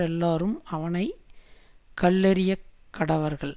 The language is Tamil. எல்லாரும் அவனை கல்லெறியக்கடவர்கள்